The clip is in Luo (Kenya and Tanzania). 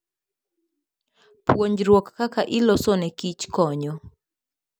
Puonjruok kaka iloso nekich konyo.